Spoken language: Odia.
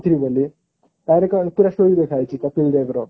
ପୁରା story ଲେଖା ହେଇଛି କପିଲ ଦେବ ର